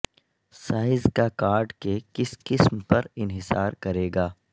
size کا card کے کس قسم پر انحصار کرے گا